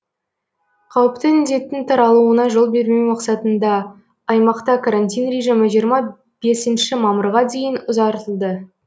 қауіпті індеттің таралуына жол бермеу мақсатында аймақта карантин режимі жиырма бесінші мамырға дейін ұзартылды